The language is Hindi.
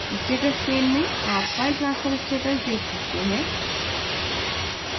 status pane में आप file transfer status देख सकते हैं